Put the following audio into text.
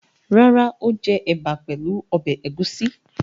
Rárá, ó jẹ ẹ̀bà pẹ̀lú ọbẹ̀ ẹ̀gúsí.